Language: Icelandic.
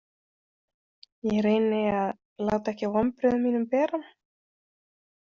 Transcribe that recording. Ég reyni að láta ekki á vonbrigðum mínum bera.